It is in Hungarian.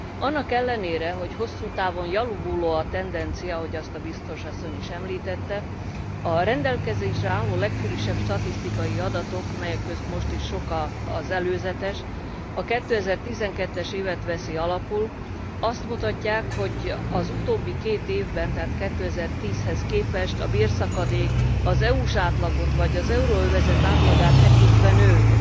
Annak ellenére, hogy hosszú távon javuló a tendencia, ahogy azt a Biztos asszony is említette, a rendelkezésre álló legfrissebb statisztikai adatok melyek közt most is sok az előzetes a 2012 es évet veszik alapul, és azt mutatják, hogy az utóbbi két évben, tehát 2010 hez képest a bérszakadék az EU s átlagot, vagy az euróövezet átlagát tekintve nőtt